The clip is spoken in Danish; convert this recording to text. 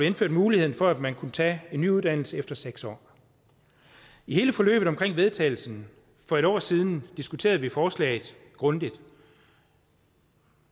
indført muligheden for at man kunne tage en ny uddannelse efter seks år i hele forløbet omkring vedtagelsen for en år siden diskuterede vi forslaget grundigt